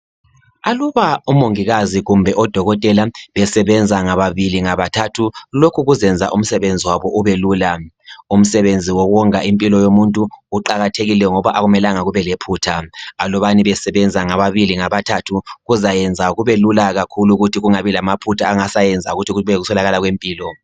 Aluba omongikazi kumbe odokotela besebenza ngababili ngabathathu lokhu kuzenza umsebenzi wabo ube lula. Umsebenzi wokonga impilo yomuntu kuqakathekile ngoba akumelanga kube lephutha. Alubani besebenza ngababili ngabathathu kuzayenza kubelula kakhulu ukuthi kungabi lamaphutha angasayenza ukuthi kube yikuswelakala kwempilo.